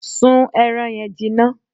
Sún ẹran yẹn jinná!